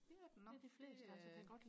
det er den nok det øh